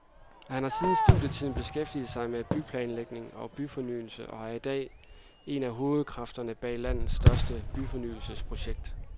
Han har siden studietiden beskæftiget sig med byplanlægning og byfornyelse og er i dag en af hovedkræfterne bag landets største byfornyelsesprojekt.